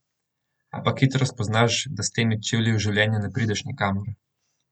Ampak hitro spoznaš, da s temi čeji v življenju ne prideš nikamor.